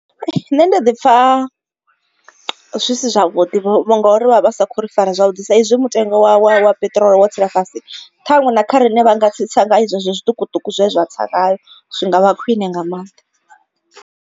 Nṋe ndi ḓi pfha zwi si zwavhuḓi vho ngori vha vha sa khou ri fara zwavhuḓi sa izwi mutengo wa wa peṱirolo wo tsela fhasi ṱhaṅwe na kha riṋe vha nga tsitsa nga zwezwo zwiṱukuṱuku zwe zwa tsa ngayo zwi ngavha khwine nga maanḓa.